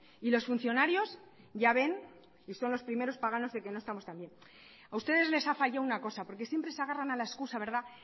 y los funcionarios ya ven y son los primeros paganos de que no estamos tan bien a ustedes les ha fallado una cosa porque siempre se agarran a la excusa verdad